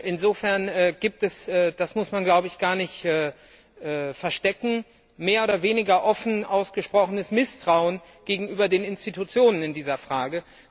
Insofern gibt es das muss man gar nicht verstecken mehr oder weniger offen ausgesprochenes Misstrauen gegenüber den Institutionen in dieser Frage.